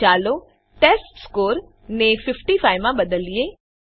હવે ચાલો ટેસ્ટસ્કોર ને ૫૫ માં બદલીએ